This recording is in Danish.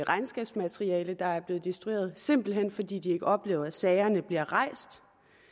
regnskabsmateriale der er blevet destrueret simpelt hen fordi de ikke oplever at sagerne bliver rejst